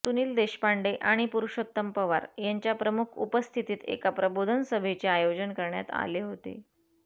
सुनील देशपांडे आणि पुरुषोत्तम पवार यांच्या प्रमुख उपस्थितीत एका प्रबोधन सभेचे आयोजन करण्यात आले होते